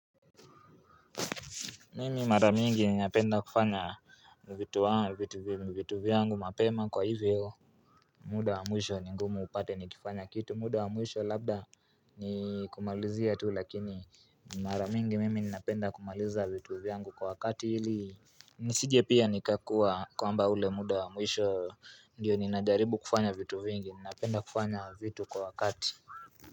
Mimi mara mingi ninapenda kufanya vitu vitu vyangu mapema kwa hivyo muda wa mwisho ni ngumu upate nikifanya kitu muda wa mwisho labda nikumalizia tu lakini mara mingi mimi ninapenda kumaliza vitu vyangu kwa wakati ili Nisije pia nikakua kwamba ule muda wa mwisho ndiyo ninajaribu kufanya vitu vingi ninapenda kufanya vitu kwa wakati.